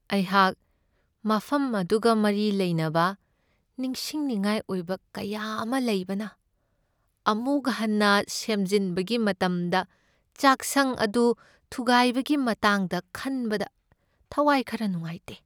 ꯑꯩꯍꯥꯛ ꯃꯐꯝ ꯑꯗꯨꯒ ꯃꯔꯤ ꯂꯩꯅꯕ ꯅꯤꯡꯁꯤꯡꯅꯤꯡꯉꯥꯏ ꯑꯣꯏꯕ ꯀꯌꯥ ꯑꯃ ꯂꯩꯕꯅ, ꯑꯃꯨꯛ ꯍꯟꯅ ꯁꯦꯝꯖꯤꯟꯕꯒꯤ ꯃꯇꯝꯗ ꯆꯥꯛꯁꯪ ꯑꯗꯨ ꯊꯨꯒꯥꯏꯕꯒꯤ ꯃꯇꯥꯡꯗ ꯈꯟꯕꯗ ꯊꯋꯥꯏ ꯈꯔ ꯅꯨꯡꯉꯥꯏꯇꯦ꯫